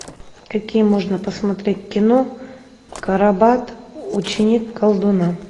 какие можно посмотреть кино карабат ученик колдуна